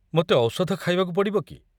ମୋତେ ଔଷଧ ଖାଇବାକୁ ପଡ଼ିବ କି?